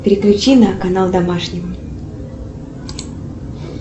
переключи на канал домашний